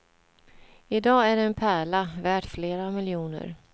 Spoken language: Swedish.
I dag är det en pärla, värt flera miljoner.